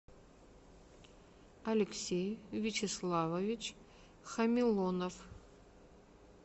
алексей вячеславович хамилонов